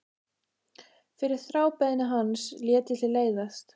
Fyrir þrábeiðni hans lét ég til leiðast.